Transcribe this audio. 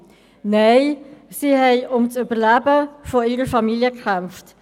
Nein, sie hatten um das Überleben ihrer Familie gekämpft.